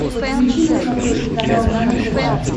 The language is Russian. подключи на смотрешке канал нано тв